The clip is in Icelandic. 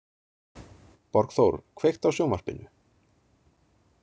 Borgþór, kveiktu á sjónvarpinu.